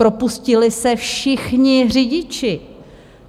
Propustili se všichni řidiči.